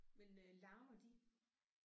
Men øh larmer de?